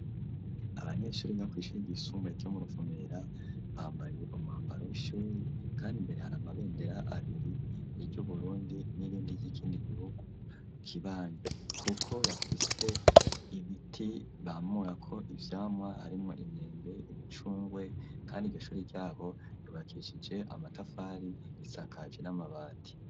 Abanyeshuri biga kwi'shure ryisumbuye ryo mu ruvumera bambaye umwambaro w'ishuri kandi imbere hara amabendera abiri ry'uburundi n'irindi ry'ikindi gihugu kibanyi kuko bafise ibiti bamurako ivyamwa harimwo imyembe n' imicungwe kandi iryo shuri ryabo ryubakishije amatafari risakaje n'amabati.